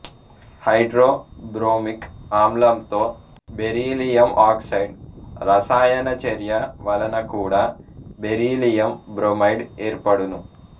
hydro bromic ఆమ్లంతో beryllium oxide రసాయనచర్య వలన కూడా బెరీలియం బ్రోమైడ్ ఏర్పడును